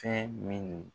Fɛn min